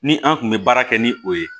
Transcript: Ni an kun bɛ baara kɛ ni o ye